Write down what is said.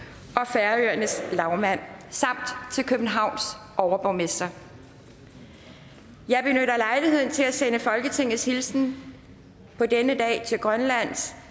færøernes lagmand samt til københavns overborgmester jeg benytter lejligheden til at sende folketingets hilsen på denne dag til grønlands